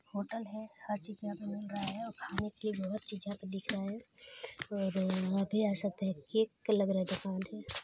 hotel है हर चीज यहाँ पे मिल रहा है और खाने के बहुत चीज यहाँ पे दिख रहा है और आप भी आ सकते है केक लग रहा है देखो--